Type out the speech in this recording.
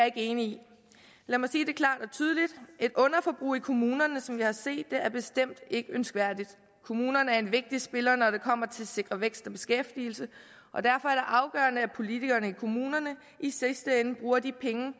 ikke enig i lad mig sige det klart og tydeligt et underforbrug i kommunerne som vi har set det er bestemt ikke ønskværdigt kommunerne er en vigtig spiller når det kommer til at sikre vækst og beskæftigelse og derfor er det afgørende at politikerne i kommunerne i sidste ende bruger de penge